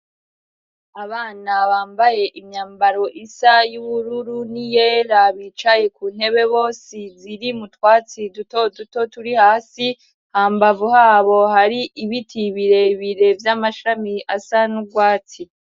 Abana bambaye imyambaro isa y'ubururu n'iyera bicaye ku ntebe bose ziri mu twatsi dutoduto turi hasi, hambavu habo hari ibiti birebire vy'amashami asa n'urwatsi.